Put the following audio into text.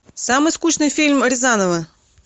самый скучный фильм рязанова